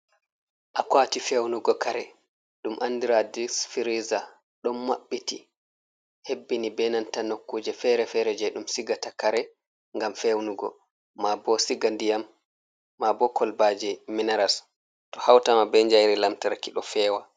Akwati fewnugo kare ɗum andira ɗum fereza, ɗon maɓɓiti, hebbini benanta nokkuje fere-fere je ɗum sigata kare ngam fewnugo, ma bo siga ndiyam, ma bo kolbaji minaras, to hautama be jairi lamtarki ɗo fewa.